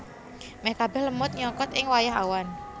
Meh kabeh lemut nyokot ing wayah awan